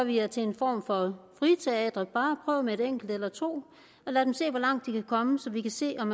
vi jer til en form for friteater man kan bare prøve med et enkelt eller to og lade dem se hvor langt de kan komme så vi kan se om